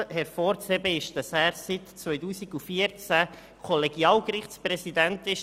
Hervorzuheben ist, dass er seit 2014 Kollegialgerichtspräsident ist.